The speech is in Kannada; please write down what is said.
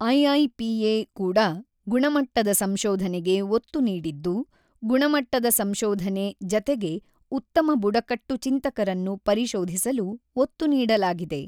ಐಐಪಿಎ ಕೂಡ ಗುಣಮಟ್ಟದ ಸಂಶೋಧನೆಗೆ ಒತ್ತು ನೀಡಿದ್ದು, ಗುಣಮಟ್ಟದ ಸಂಶೋಧನೆ ಜತೆಗೆ ಉತ್ತಮ ಬುಡಕಟ್ಟು ಚಿಂತಕರನ್ನು ಪರಿಶೋಧಿಸಲು ಒತ್ತು ನೀಡಲಾಗಿದೆ.